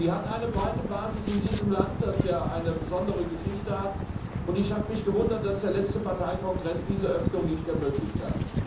Sie hat eine breite Basis in diesem Land, das ja eine besondere Geschichte hat, und ich habe mich gewundert, dass der letzte Parteikongress diese Öffnung nicht ermöglicht hat.